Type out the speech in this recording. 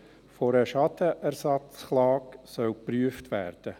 Die Möglichkeit einer Schadenersatzklage soll geprüft werden.